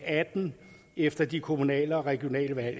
atten efter de kommunale og regionale valg